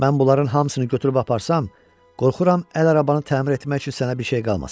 Mən bunların hamısını götürüb aparsam, qorxuram əl arabanı təmir etmək üçün sənə bir şey qalmasın.